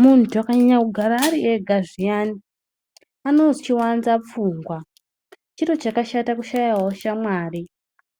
Muntu akanyanya kugara ariega zviyani anochiwanza pfungwa , chiro chakashata kushayawo shamari